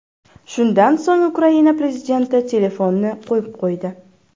Shundan so‘ng Ukraina prezidenti telefonni qo‘yib qo‘ydi.